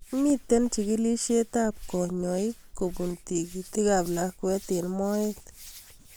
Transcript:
Mito chigilishet ab kanyoik kopun tigit ab lakwet eng' moet